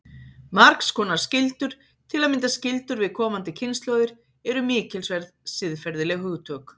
Margs konar skyldur, til að mynda skyldur við komandi kynslóðir, eru mikilsverð siðferðileg hugtök.